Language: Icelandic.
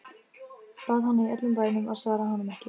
Bað hana í öllum bænum að svara honum ekki.